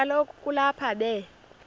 kaloku kulapho be